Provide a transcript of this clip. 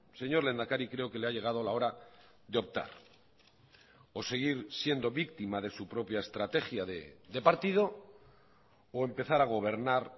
señor lehendakari creo que le ha llegado la hora de optar o seguir siendo víctima de su propia estrategia de partido o empezar a gobernar